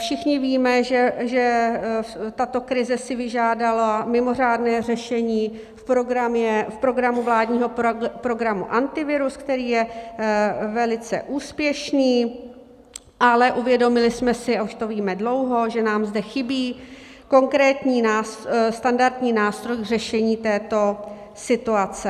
Všichni víme, že tato krize si vyžádala mimořádné řešení v programu vládního programu Antivirus, který je velice úspěšný, ale uvědomili jsme si, a už to víme dlouho, že nám zde chybí konkrétní standardní nástroj k řešení této situace.